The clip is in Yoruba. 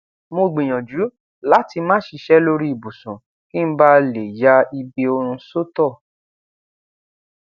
mo gbiyanju lati má ṣíṣe lórí ibùsùn kí n bá lè ya ibi orun sótọ